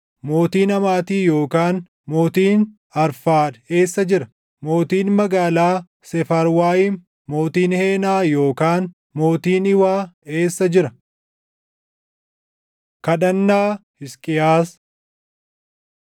Mootiin Hamaati yookaan mootiin Arfaad eessa jira? Mootiin magaalaa Seefarwaayim, mootiin Heenaa yookaan mootiin Iwaa eessa jira?” Kadhannaa Hisqiyaas 37:14‑20 kwf – 2Mt 19:14‑19